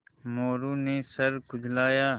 मोरू ने सर खुजलाया